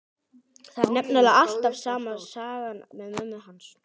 Það er nefnilega alveg sama sagan með mömmu hans.